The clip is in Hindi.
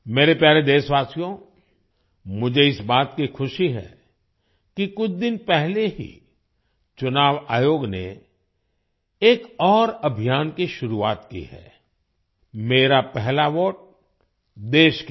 मेरे प्यारे देशवासियो मुझे इस बात की खुशी है कि कुछ दिन पहले ही चुनाव आयोग ने एक और अभियान की शुरुआत की है मेरा पहला वोट देश के लिए